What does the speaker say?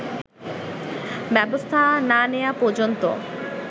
ব্যবস্থা না নেয়া পর্যন্ত